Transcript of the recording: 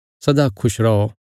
सदा खुश रौ